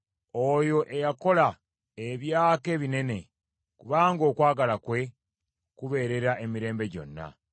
Oyo eyakola ebyaka ebinene, kubanga okwagala kwe kubeerera emirembe gyonna.